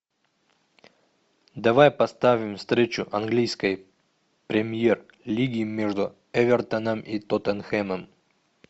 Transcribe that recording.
давай поставим встречу английской премьер лиги между эвертоном и тоттенхэмом